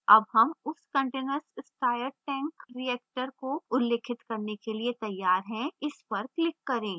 अब हम उस continuous stirred tank reactor को उल्लिखित करने के लिए तैयार हैं